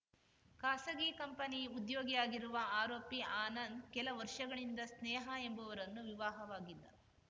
ಖಾಸಗಿ ಕಂಪನಿ ಉದ್ಯೋಗಿಯಾಗಿರುವ ಆರೋಪಿ ಆನಂದ್‌ ಕೆಲ ವರ್ಷಗಳಿಂದ ಸ್ನೇಹಾ ಎಂಬುವರನ್ನು ವಿವಾಹವಾಗಿದ್ದ